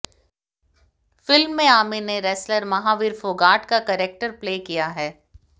film में आमिर ने wrestler Mahavir Phogat का कैरेक्टर प्ले किया है